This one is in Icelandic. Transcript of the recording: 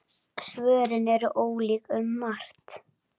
Svörin eru ólík um margt.